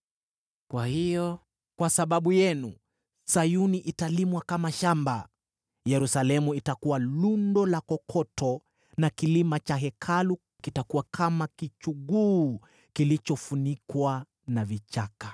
Kwa hiyo kwa sababu yenu, Sayuni italimwa kama shamba, Yerusalemu itakuwa lundo la kokoto, na kilima cha Hekalu kitakuwa kichuguu kilichofunikwa na vichaka.